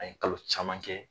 An ye kalo caman kɛ